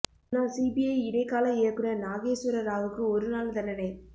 முன்னாள் சிபிஐ இடைக்கால இயக்குநர் நாகேஸ் வர ராவுக்கு ஒரு நாள் தண்டனை